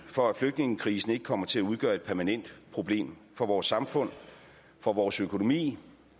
for at flygtningekrisen ikke kommer til at udgøre et permanent problem for vores samfund for vores økonomi